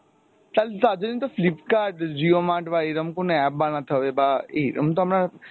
তাহলে তার জন্য তো Flipkart উম jio mart বা এরম কোনো app বানাতে হবে বা এরম তো আমরা